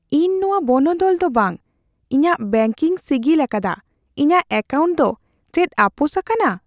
ᱤᱧ ᱱᱚᱶᱟ ᱵᱚᱱᱚᱫᱚᱞ ᱫᱚ ᱵᱟ ᱾ ᱤᱧᱟᱹᱜ ᱵᱮᱱᱠ ᱹᱧ ᱥᱤᱜᱤᱞ ᱟᱠᱟᱫᱟ ᱾ ᱤᱧᱟᱜ ᱮᱠᱟᱣᱱᱴ ᱫᱚ ᱪᱮᱫ ᱟᱯᱳᱥ ᱟᱠᱟᱱᱟ ?